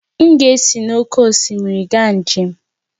M ga-esi n'oké osimiri gaa njem